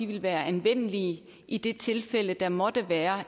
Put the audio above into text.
vil være anvendelige i det tilfælde der måtte være